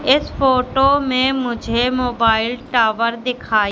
इस फोटो में मुझे मोबाइल टावर दिखाई--